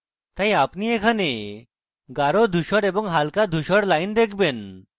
এখন আপনি এখানে গাঢ় ধূসর এবং হালকা ধূসর lines দেখেন